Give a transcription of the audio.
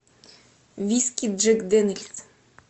виски джек дэниэлс